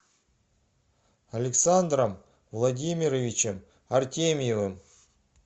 александром владимировичем артемьевым